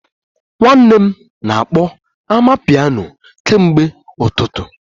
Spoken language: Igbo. Nwanne m na-akpọ amapiano kemgbe ụtụtụ